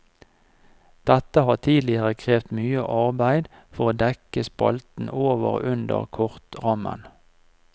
Dette har tidligere krevd mye arbeide for å dekke spalten over og under kortrammen.